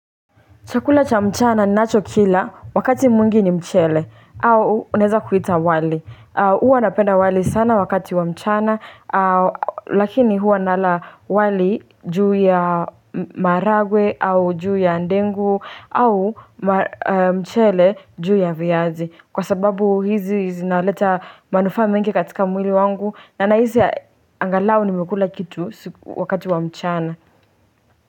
Chakula cha mchana ninacho kila wakati mwingine mchele au unaeza kuita wali. Huwa napenda wali sana wakati wa mchana lakini huwa nala wali juu ya maragwe au juu ya ndengu au mchele juu ya viazi. Kwa sababu hizi zinaleta manufaa mengi katika mwili wangu na hizi angalao nimekula kitu wakati wa mchana.